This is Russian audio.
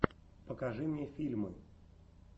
покажи мне фильмы